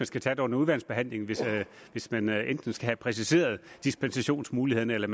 skal tage det under udvalgsbehandlingen hvis man enten skal have præciseret dispensationsmulighederne eller